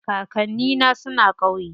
Kakanni na suna ƙauye.